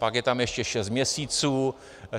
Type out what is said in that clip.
Pak je tam ještě šest měsíců.